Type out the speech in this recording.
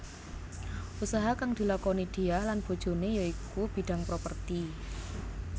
Usaha kang dilakoni Diah lan bojoné ya iku bidhang properti